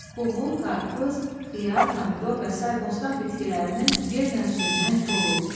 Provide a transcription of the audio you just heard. qovun, qarpız, xiyar, pomidor və sair bostan bitkilərinin yerlə sürünən kolu.